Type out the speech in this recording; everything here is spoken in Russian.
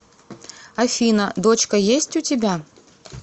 афина дочка есть у тебя